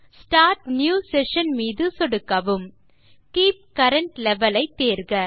start new session மீது சொடுக்கவும் keep current level ஐ தேர்க